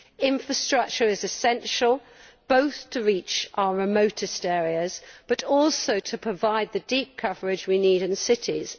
Infrastructure is essential, both to reach our remotest areas, and to provide the deep coverage we need in cities.